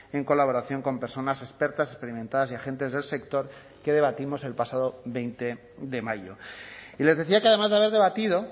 en colaboración con personas expertas experimentadas y agentes del sector que debatimos el pasado veinte de mayo y les decía que además de haber debatido